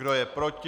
Kdo je proti?